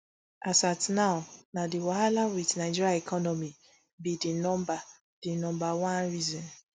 as at now na di wahala wit nigeria economy be di number di number one reason